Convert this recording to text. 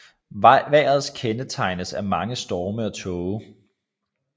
Vejret kendetegnes af mange storme og tåge